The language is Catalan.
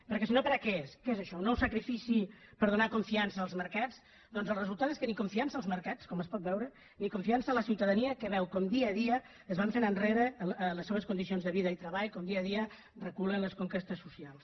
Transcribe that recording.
perquè si no per a què és què és això un nou sacrifici per donar confiança als mercats doncs el resultat és que ni confiança als mercats com es pot veure ni confiança a la ciutadania que veu com dia a dia es van fent enrere les seves condicions de vida i treball com dia a dia reculen les conquestes socials